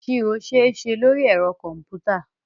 Ìṣirò ṣeéṣe lóri ẹ̀rọ kọ̀m̀pútà.